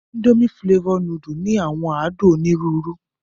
Indomie flavour nùdù ni àwọn àdun onirùurù